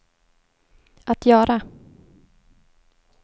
att göra